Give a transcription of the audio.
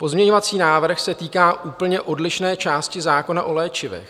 Pozměňovací návrh se týká úplně odlišné části zákona o léčivech.